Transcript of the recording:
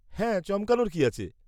হ্যাঁ, চমকানোর কি আছে?